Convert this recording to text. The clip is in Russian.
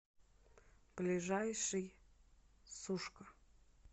ближайший сушка